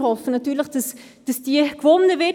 Wir hoffen natürlich, dass diese gewonnen wird.